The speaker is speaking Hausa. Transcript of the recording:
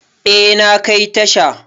Eh, na kai tasha.